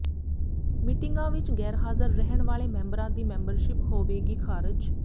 ਮੀਟਿੰਗਾਂ ਵਿੱਚ ਗ਼ੈਰਹਾਜ਼ਰ ਰਹਿਣ ਵਾਲੇ ਮੈਂਬਰਾਂ ਦੀ ਮੈਂਬਰਸ਼ਿਪ ਹੋਵੇਗੀ ਖਾਰਜ